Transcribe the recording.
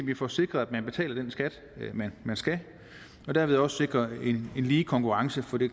vi får sikret at man betaler den skat man skal og dermed også sikrer en lige konkurrence for det